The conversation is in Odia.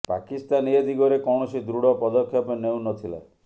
ପାକିସ୍ତାନ ଏ ଦିଗରେ କୌଣସି ଦୃଢ଼ ପଦକ୍ଷେପ ନେଉ ନ ଥିଲା